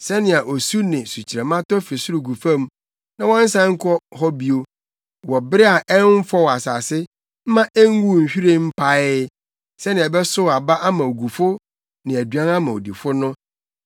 Sɛnea osu ne sukyerɛmma tɔ fi soro gu fam, na wɔnnsan nkɔ hɔ bio wɔ bere a ɛmfɔw asase mma enguu nhwiren mpaee, sɛnea ɛbɛsow aba ama ogufo ne aduan ama odifo no,